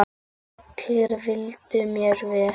Allir vildu mér vel.